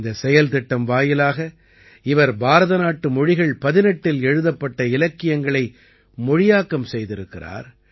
இந்தச் செயல்திட்டம் வாயிலாக இவர் பாரதநாட்டு மொழிகள் 18இல் எழுதப்பட்ட இலக்கியங்களை மொழியாக்கம் செய்திருக்கிறார்